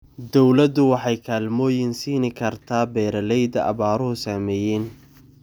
Dawladdu waxay kaalmooyin siin kartaa beeralayda abaaruhu saameeyeen.